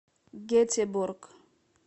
гетеборг